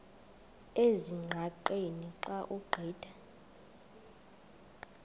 ezingqaqeni xa ugqitha